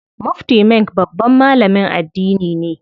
Mufti Menk babban malamin addini ne.